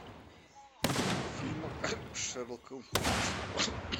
фильм с шерлоком холмсом